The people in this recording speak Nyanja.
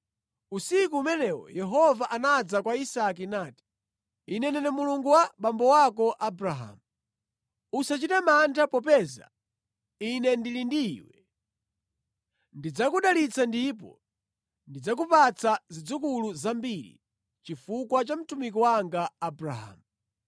Usiku umenewo Yehova anadza kwa Isake nati, “Ine ndine Mulungu wa abambo ako Abrahamu. Usachite mantha popeza Ine ndili ndi iwe. Ndidzakudalitsa ndipo ndidzakupatsa zidzukulu zambiri chifukwa cha mtumiki wanga Abrahamu.”